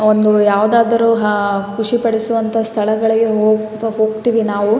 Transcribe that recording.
ಈ ಚಿತ್ರದಲ್ಲಿ ಆಕಾಶ ಬಿಳಿಯ ಮತ್ತು ಬೂದಿ ಬಣ್ಣದ್ದಾಗಿದೆ.